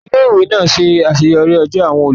Ilé ìwé náà ṣe àṣeyọrí ọjọ́ àwọn olùdásílẹ̀